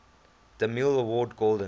demille award golden